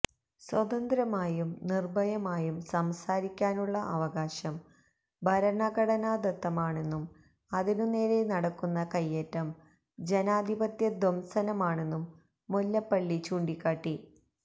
സ്വതന്ത്രമായും നിർഭയമായും സംസാരിക്കാനുള്ള അവകാശം ഭരണഘടനാദത്തമാണെന്നും അതിനു നേരേ നടക്കുന്ന കൈയേറ്റം ജനാധിപത്യ ധ്വംസനമാണെന്നും മുല്ലപ്പള്ളി ചൂണ്ടിക്കാട്ടി